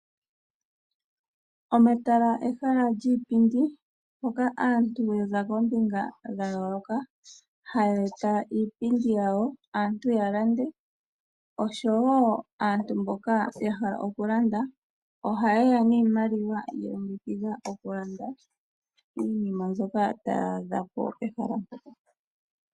Omatala ehala lyiipindi hoka aantu yaza koombinga dha yooloka haye e ta iipindi yawo, aantu ya lande, oshowo aantu mboka ya hala oku landa ohaye ya niimaliwa ya longekidhilwa oku landa iinima mbyoka taya adha pehala mpoka.